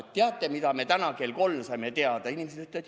Et teate, mida me täna kell kolm saime teada?!